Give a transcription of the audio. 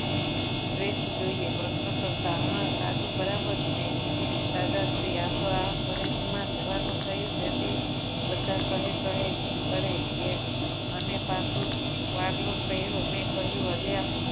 fresh જોઈએ પ્રશ્ન કરતા હા સાધુ બરાબર છે દાદા શ્રી આ તો આ foreign માં જવાનું થયું તેથી બધા કહે કહે કરે કે અને પાછું પાટલુન પહેલી મે કહ્યું અલ્યા